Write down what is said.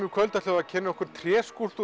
í kvöld ætlum við að kynna okkur